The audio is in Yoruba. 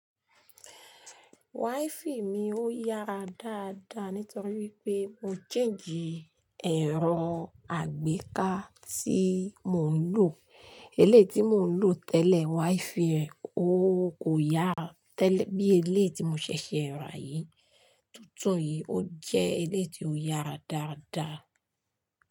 Wáífì mi ó yára dáadáa nítorí wípé mo change ẹ̀rọ àgbéká tí mò ń lò. Éléyì tí mò ń lò tẹ́lẹ̀, wáífì rẹ̀ ó kò yára tẹ́lẹ̀ bí eléyi tí mo ṣẹ̀ṣẹ̀ ra yìí. Tuntùn yìí ó jẹ́ éléyì tí ó yára dáadáa.